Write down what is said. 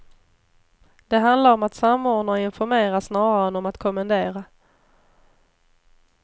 Det handlar om att samordna och informera snarare än om att kommendera.